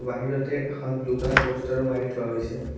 বাহিৰতে এখন blue colour প'ষ্টাৰো মাৰি থোৱা হৈছে।